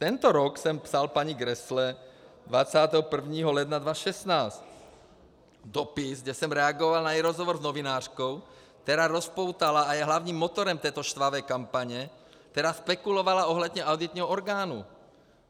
Tento rok jsem psal paní Grässle 21. ledna 2016 dopis, kde jsem reagoval na její rozhovor s novinářkou, která rozpoutala a je hlavním motorem této štvavé kampaně, která spekulovala ohledně auditního orgánu.